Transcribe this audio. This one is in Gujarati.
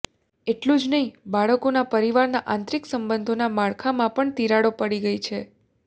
એટલું જ નહીં બાળકોનાં પરિવારના આંતરિક સંબંધોનાં માળખામાં પણ તિરાડો પડી ગઈ છે